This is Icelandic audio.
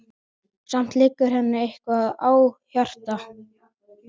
Samt liggur henni eitthvað á hjarta.